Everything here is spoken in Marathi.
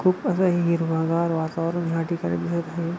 खूप असं हे हिरवगार वातावरण या ठिकाणी दिसत आहे.